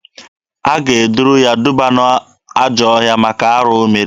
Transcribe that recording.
A ga-eduru ya duba n'ajọọ ọhịa maka arụ o mere.